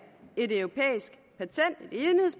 et europæisk